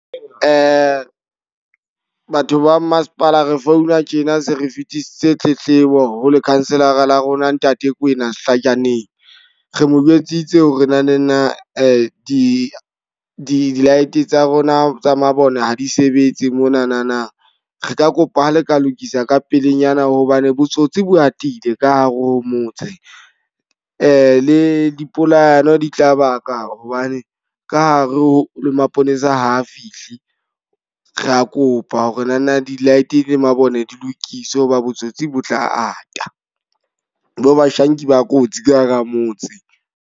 Batho ba masepala re founa tjena se re fetise tletlebo ho lekhanselara la rona ntate Kwena Hlajaneng. Re mo jwetsitse ho re na ne na di di-light tsa rona tsa mabone ha di sebetse monana. Re ka kopa ha le ka lokisa ka pelenyana hobane botsotsi bo atile ka hare ho motse. Le le dipolayano di tla ba ka hobane ka hare ho le maponesa ha a fihle. Ra kopa ho re na na di-light le mabone di lokiswe hoba botsotsi bo tla ata. Bo bashanki ba kotsi ka hara motse.